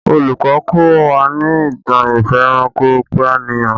Olùkọ́ kọ́ wa ní ìtàn ìfẹranko-peniyan